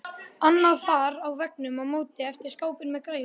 Annað far á veggnum á móti eftir skápinn með græjunum.